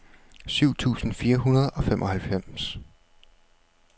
syv tusind fire hundrede og femoghalvfems